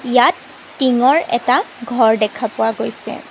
ইয়াত টিঙৰ এটা ঘৰ দেখা পোৱা গৈছে।